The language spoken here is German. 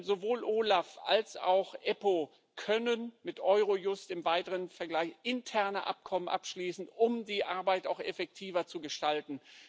Sowohl OLAF als auch die EUStA können mit Eurojust im weiteren Vergleich interne Abkommen abschließen, um die Arbeit effektiver zu gestalten.